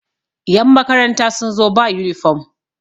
yanmakaranta sun zo ba yunifom